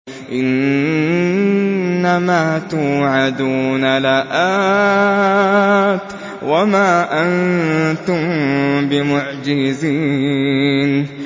إِنَّ مَا تُوعَدُونَ لَآتٍ ۖ وَمَا أَنتُم بِمُعْجِزِينَ